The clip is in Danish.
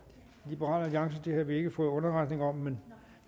liberal alliance det har vi ikke fået nogen underretning om men